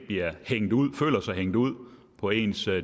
føler sig hængt ud på ens